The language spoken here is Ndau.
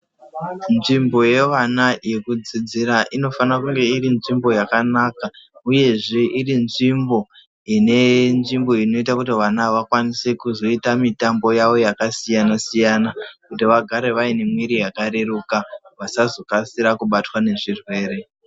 Nzvimbo yevana yekudzidzira inofana kunge iri nzvimbo yakanaka, uyezve iri nzvimbo ine nzvimbo inoita kuti vana vakwanise kuzoita mitambo yavo yakasiyana-siyana. Kuti vagare vaine mviri yakareruka vasazokasira kubatwa ngezvirwere.